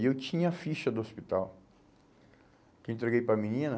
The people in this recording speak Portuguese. E eu tinha a ficha do hospital que entreguei para a menina.